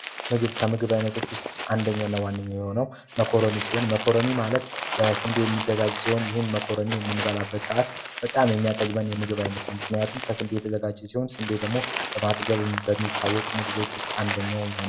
ምግብ ከምግብ አይነቶች ውስጥ አንደኛ እና ዋነኛው የሆነው መኮረኒ ሲሆን መኮረኒ ይዘጋጅ ሲሆን ይህን መኮረኒ በምንመገብ ሰዓት በጣም የሚያጠግበን የምግብ አይነት ነው ምክንያቱም ከስንዴ የተዘጋጀ ስለሆነም ስንዴ ደግሞ በጣም በማጥገኝ ከሚታወቁ ሰብሎች ውስጥ አንደኛ ነው።